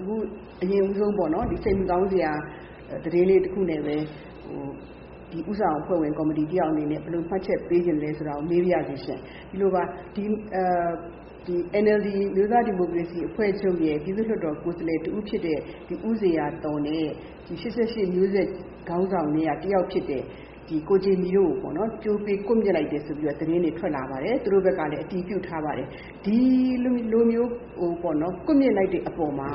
အခု အရင်ဦးဆုံး စိတ်မကောင်းစရာ သတင်းလေးတခုနဲ့ပဲ ဦးဆောင်ကော်မတီအဖွဲ့ဝင်တယောက်အနေနဲ့ ဘယ်လို ဘယ်လိုမှတ်ချက်ပေးချင်သလဲဆိုတာကို မေးပါရစေရှင့်။ ဒီလိုပါ။ NLD အမျိုးသားဒီမိုကရေစီအဖွဲ့ချုပ်ရဲ့ ပြည်သူ့လွှတ်တော်ကိုယ်စားလှယ်တဦးဖြစ်တဲ့ ဦးဖြိုးဇေယျာသော်နဲ့ ၈၈ မျိုးဆက်ခေါင်းဆောင်ထဲကတယောက်ဖြစ်တဲ့ ဦးဂျင်မီတို့ကိုပေါ့နော်၊ ကြိုးပေး ကွပ်မျက်လိုက်တယ်ဆိုတဲ့သတင်းတွေ ထွက်လာပါတယ်။ သူတို့ဘက်ကလည်း အတည်ပြုထားပါတယ်။ ဒီလိုမျိုး ကွပ်မျက်လိုက်တဲ့အပေါ်မှာ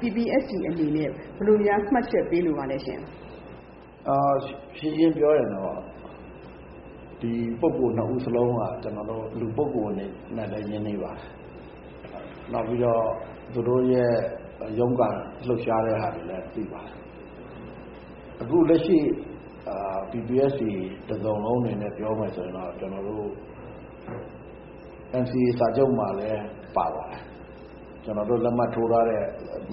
PPST အနေနဲ့ ဘယ်လိုများ မှတ်ချက်ပေးလိုပါသလဲရှင့်။ ရှင်းရှင်းပြောရရင်တော့ ဒီပုဂ္ဂိုလ်နှစ်ဦးစလုံးက ကျနော်တို့ လူပုဂ္ဂိုလ်အနေနဲ့လည်း ရင်းနှီးပါတယ်။ နောက်ပြီးတော့ သူတို့ရဲ့ရုန်းကန်လှုပ်ရှားတဲ့ဟာတွေလည်း အခု လက်ရှိ PPST တစုံလုံးအနေနဲ့ ပြောမယ်ဆိုရင်တော့ ကျနော်တို့ NCA စာချုပ်မှာလည်း ပါပါတယ်။ ကျနော်တို့လက်မှတ်ထိုးထားတဲ့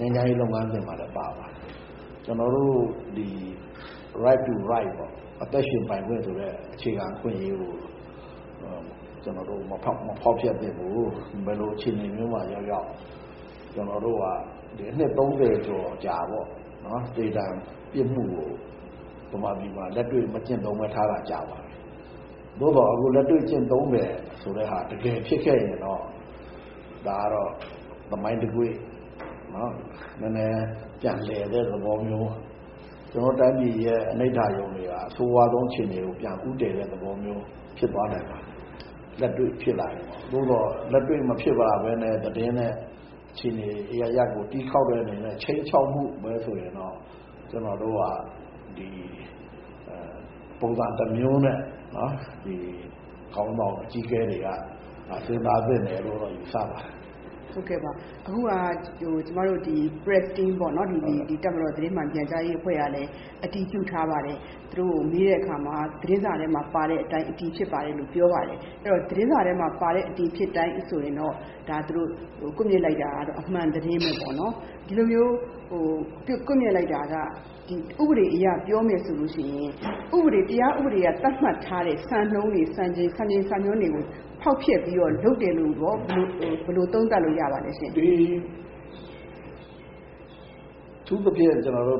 ငြိမ်းချမ်းရေးလုပ်ငန်းစဉ်မှာလည်း ပါပါတယ်။ ကျနော်တို့....right to life ပေါ့၊ အသက်ရှင်ပိုင်ခွင့်ဆိုတဲ့ အခြေခံအခွင့်အရေးကို မဖောက်ဖျက်သင့်ဘူး။ ဘယ်လိုအခြေအနေမျိုးမှာရောက်ရောက် ကျနော်တို့က ဒီ နှစ် ၃၀ ကျော်အကြာပေါ့-သေဒဏ်ပြစ်မှုကို ဗမာပြည်မှာ လက်တွေ့ မကျင့်သုံးဘဲ ထားတာ ကြာပါပြီ။ သို့သော် အခု လက်တွေ့ကျင့်သုံးမယ်ဆိုတဲ့ဟာ တကယ်ဖြစ်ခဲ့ရင်တော့ ဒါကတော့ သမိုင်းတကွေ့၊ နည်းနည်း ပြန်လည်တဲ့သဘောမျိုးပေါ့။ ကျနော်တို့တိုင်းပြည်ရဲ့ အနိဌာရုံတွေဟာ အဆိုးဝါးဆုံးအခြေအနေကို ပြန်ဦးတည်တဲ့သဘောမျိုးဖြစ်သွားနိုင်ပါတယ်။ လက်တွေ့ဖြစ်လာရင်ပေါ့။ သို့သော် လက်တွေ့မဖြစ်လာဘဲနဲ့ သတင်းနဲ့အခြေအနေအရပ်ရပ်ကို တီးခေါက်တဲ့အနေနဲ့ ခြိမ်းခြောက်မှုပဲဆိုရင်တော့ ကျနော်တို့က ပုံစံတမျိုးနဲ့ ခေါင်းဆောင်အကြီးအကဲတွေက စဉ်းစားသင့်တယ်လို့ ယူဆပါတယ်။ ဟုတ်ကဲ့ပါ။ အခုဟာက ကျမတို့ press team ပေါ့နော်။ တပ်မတော်သတင်းမှန်ပြန်ကြားရေးအဖွဲ့ကလည်း အတည်ပြုထားပါတယ်။ သူတို့ကို မေးတဲ့အခါမှာ သတင်းစာထဲမှာပါတဲ့အတိုင်း အတည်ဖြစ်ပါတယ်လို့ ပြောပါတယ်။ အဲဒီတော့ သတင်းစာထဲမှာပါတဲ့အတိုင်း အတည်ဖြစ်တယ်ဆိုရင်တော့ သူတို့ ကွပ်မျက်လိုက်တာကတော့ အမှန်သတင်းပဲပေါ့နော်။ ဒီလိုမျိုး ကွပ်မျက်လိုက်တာက ဥပဒေအရ ပြောမယ်ဆိုလို့ရှိရင် တရားဥပဒေက သတ်မှတ်ထားတဲ့စံနှုန်းတွေ၊ စံချိန် စံညွှန်းတွေကို ဖောက်ဖျက်ပြီးတော့ လုပ်တယ်လို့ကော ဘယ်လို သုံးသပ်လို့ရပါလဲရှင့်။ အထူးသဖြင့်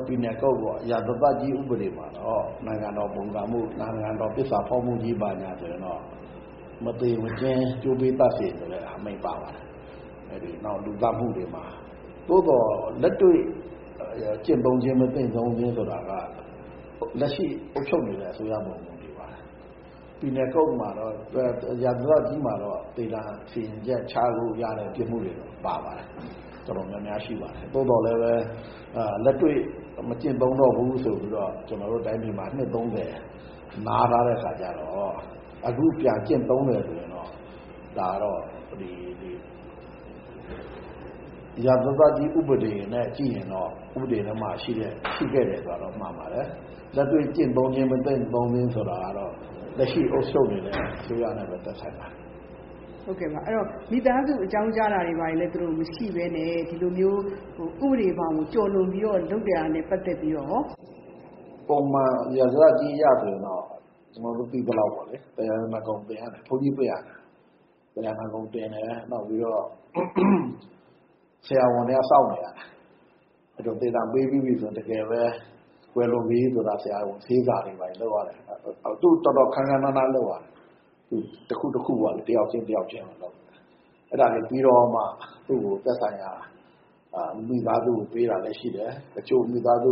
penal code ပေါ့၊ ရာဇသတ်ကြီးဥပဒေမှာတော့ နိုင်ငံတော်ပုန်ကန်မှု၊ နိုင်ငံတော်သစ္စာဖောက်မှုကြီးမှာဆိုရင်တော့ “မသေမချင်း ကြိုးကွင်း သတ်စေ” ဆိုတဲ့အမိန့် ပါပါတယ်။ နောက် လူသတ်မှု တွေမှာ။ သို့သော် လက်တွေ့ ကျင့်သုံးခြင်း၊ မသုံးခြင်းဆိုတာက လက်ရှိအုပ်ချုပ်နေတဲ့အစိုးရပေါ်မှာ မူတည်ပါတယ်။ penal code မှာတော့ ရာဇသတ်ကြီးမှာတော့ သေဒဏ်စီရင်ချက်ချလို့ရတဲ့ ပြစ်မှုတွေ ပါပါတယ်။ တော်တော်များများ ရှိပါတယ်။ သို့သော်လည်းပဲ လက်တွေ့ မကျင့်သုံးတော့ဘူး ဆိုပြီးတော့ ကျနော်တို့တိုင်းပြည်မှာ နှစ် ၃၀ နားထားတဲ့အခါကျတော့ အခုပြန်ကျင့်သုံးမယ်ဆိုရင်တော့ ဒါကတော့ ရာဇသတ်ကြီးဥပဒေနဲ့ကြည့်ရင်တော့ ဥပဒေထဲမှာ ရှိခဲ့တယ်ဆိုတာတော့ မှန်ပါတယ်။ လက်တွေ့ ကျင့်သုံးခြင်း၊ မကျင့်သုံးခြင်းဆိုတာကတော့ လက်ရှိ အုပ်ချုပ်နေတဲ့ အစိုးရနဲ့ပဲသက်ဆိုင်ပါတယ်။ ဟုတ်ကဲ့ပါ။ မိသားစုတွေကို အကြောင်းကြားတာတွေ၊ ဘာတွေ မရှိဘဲနဲ့ ဒီလိုမျိုး ဥပဒေဘောင်ကို ကျော်လွန်ပြီးတော့ လုပ်တာနဲ့ပတ်သက်ပြီးတော့ကော...။ ပုံမှန် ရာဇသတ်ကြီးအရဆိုရင်တော့ ကျနော်တို့သိသလောက် သရဏဂုံတင်ရတယ်။ ဘုန်းကြီးပင့်ရတယ်။ သရဏဂုံတင်တယ်၊ နောက်ပြီးတော့ ဆရာဝန်တွေက စောင့်နေရတယ်။ သေဒဏ်ပေးပြီးပြီဆိုရင် တကယ်ပဲ ကွယ်လွန်ပြီဆိုတာ ဆေးစာလုပ်ရတယ်။ တော်တော် ခမ်းခမ်းနားနား လုပ်ရတယ်။ တခု တခုပေါ့- တယောက်ချင်းတယောက်ချင်းကို လုပ်ရတယ်။ အဲဒါတွေပြီးတော့မှ သူ့ကို သက်ဆိုင်ရာ မိသားစုကို ပေးတာလည်းရှိတယ်။ တချို့ မိသားစု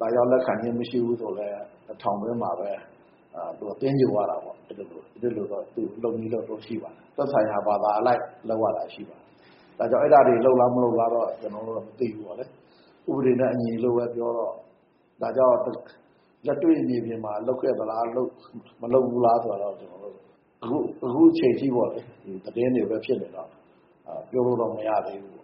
လာရောက် လက်ခံခြင်းမရှိဘူးဆိုလည်း ထောင်တွင်းမှာပဲ သဂြိုဟ်ရတာပေါ့။ အဲဒီလိုတော့ လုပ်နည်းလုပ်ထုံး ရှိပါတယ်။ သက်ဆိုင်ရာဘာသာအလိုက် လုပ်ရတာရှိပါတယ်။ ဒါကြောင့် အဲဒါတွေ လုပ်လား မလုပ်လားတော့ ကျနော်တို့တော့ မသိဘူးပေါ့လေ။ ဥပဒေနဲ့အညီလို့ပဲ ပြောတော့ ဒါကြောင့် လက်တွေ့မြေပြင်မှာ လုပ်ခဲ့သလား...မလုပ်ဘူးလားဆိုတာတော့ ကျနော်တို့ အခုအချိန်အထိပေါ့လေ သတင်းတွေပဲဖြစ်နေတော့ ပြောလို့တော့ မရသေးဘူး